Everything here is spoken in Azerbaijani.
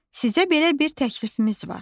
Sizə belə bir təklifimiz var.